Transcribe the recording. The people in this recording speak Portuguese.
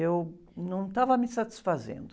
Eu não estava me satisfazendo.